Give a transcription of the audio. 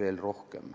veel rohkem.